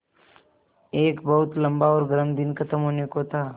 एक बहुत लम्बा और गर्म दिन ख़त्म होने को था